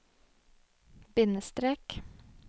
bindestrek